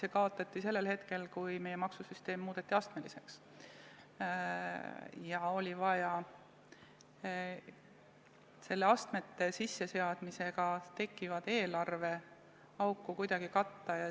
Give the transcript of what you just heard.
See kaotati sellel hetkel, kui meie maksusüsteem muudeti astmeliseks ja oli vaja astmete sisseseadmisega tekkivat eelarveauku kuidagi katta.